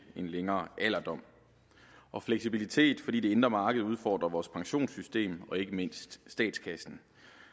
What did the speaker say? en længere alderdom og fleksibilitet fordi det indre marked udfordrer vores pensionssystem og ikke mindst statskassen